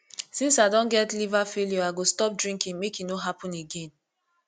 since i don get liver failure i go stop drinking make e no happen again